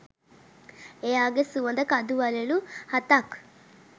එයාගෙ සුවඳ කඳු වළලු හතක්